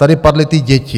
Tady padly ty děti.